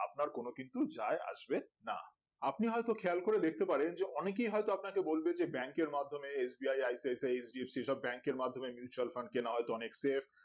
আপনার কোনো কিছু যাই আসবে না আপনি হয়তো খেয়াল করে দেখতে পারেন যে অনেকেই হয়তো আপনাকে বলবে যে bank এর মাধ্যমে S B I I P I J S P সব bank এর মাধ্যমে Mutual Fund কেনা হয় তো অনেক skip